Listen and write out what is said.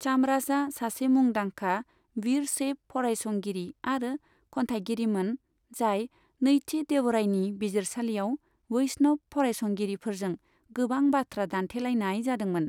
चामराजआ सासे मुंदांखा विरशैव फरायसंगिरि आरो खन्थायगिरिमोन जाय नैथि देवरायनि बिजिरसालियाव वैष्णव फरायसंगिरिफोरजों गोबां बाथ्रा दानथेलायनाय जादोंमोन।